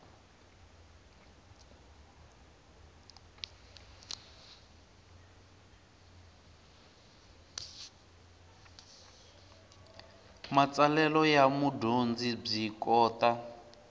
matsalelo ya mudyondzi byi kota